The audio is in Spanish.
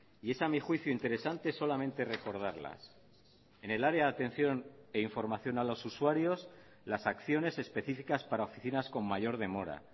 y es a mí juicio interesante solamente recordarlas en el área de atención e información a los usuarios las acciones específicas para oficinas con mayor demora